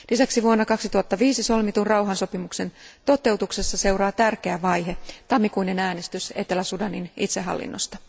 Lisäksi vuonna 2005 solmitun rauhansopimuksen toteutuksessa seuraa tärkeä vaihe tammikuinen äänestys Etelä Sudanin itsehallinnosta.